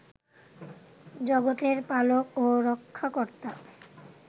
জগতের পালক ও রক্ষাকর্তা